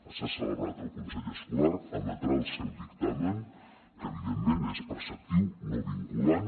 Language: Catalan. s’ha celebrat el consell escolar emetrà el seu dictamen que evidentment és preceptiu no vinculant